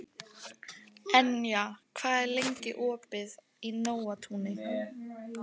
Enja, hvað er lengi opið í Nóatúni?